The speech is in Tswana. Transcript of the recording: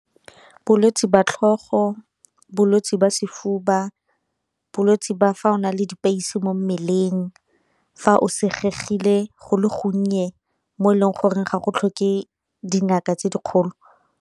Bolwetse jwa tlhogo, bolwetse ba sefuba, bolwetse ba fa o na le dipeisi mo mmeleng, fa o senyegile go le gonnye mo e leng gore ga go tlhoke dingaka tse dikgolo.